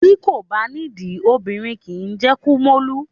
Bí kò bá nídìí, obìnrin kì í jẹ́ kúmólú.